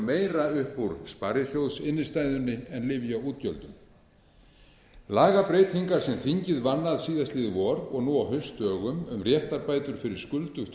meira upp úr sparisjóðsinnstæðunni en lyfjaútgjöldum lagabreytingar sem þingið vann að síðastliðið vor og nú á haustdögum um réttarbætur fyrir skuldugt